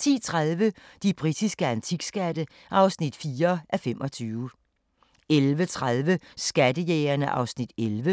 10:30: De britiske antikskatte (4:25) 11:30: Skattejægerne (Afs. 11)